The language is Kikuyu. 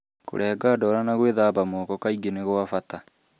Kũrenga ndwara na gwĩthamba moko kaingĩ nĩ kwa bata.